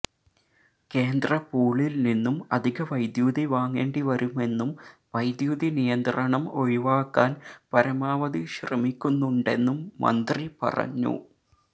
കേന്ദ്ര പൂളിൽ നിന്നും അധിക വൈദ്യുതി വാങ്ങേണ്ടി വരുമെന്നും വൈദ്യുതി നിയന്ത്രണം ഒഴിവാക്കാൻ പരമാവധി ശ്രമിക്കുന്നുണ്ടെന്നും മന്ത്രി പറഞ്ഞു